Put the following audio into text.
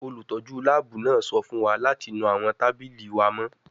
Olutọju laabu naa sọ fun wa lati nu awọn tabili wa mọ